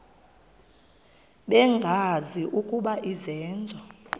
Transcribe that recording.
bengazi ukuba izenzo